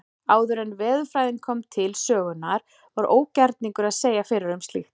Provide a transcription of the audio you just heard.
Áður en veðurfræðin kom til sögunnar var ógerningur að segja fyrir um slíkt.